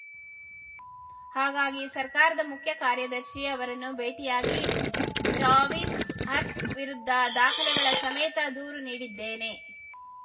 ಹಾಗಾಗಿ ಸರ್ಕಾರದ ಮುಖ್ಯ ಕಾರ್ಯದರ್ಶಿ ಅವರನ್ನು ಭೇಟಿಯಾಗಿ ಜಾವಿಂದ್‌ ಆರ್ಕ್ ವಿರುದ್ಧ ದಾಖಲೆಗಳ ಸಮೇತ ದೂರು ನೀಡಿದ್ದೇನೆ